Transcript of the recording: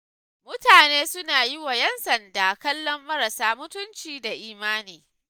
Mutane suna yiwa 'yan sanda kallon marasa mutunci da imani.